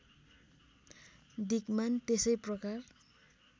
दिक्मान त्यसै प्रकार